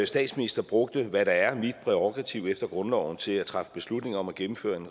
statsminister brugte hvad der er mit prærogativ efter grundloven til at træffe beslutning om at gennemføre en